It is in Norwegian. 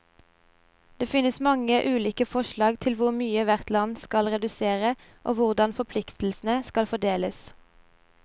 Det finnes mange ulike forslag til hvor mye hvert land skal redusere, og hvordan forpliktelsene skal fordeles.